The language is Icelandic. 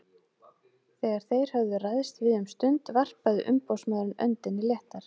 Þegar þeir höfðu ræðst við um stund varpaði umboðsmaðurinn öndinni léttar.